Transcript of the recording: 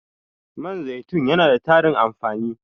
Man zaitun yana da tarin amfani.